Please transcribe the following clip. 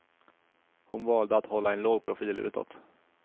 Hon valde att hålla en låg profil utåt.